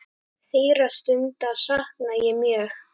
Þeirra stunda sakna ég mjög.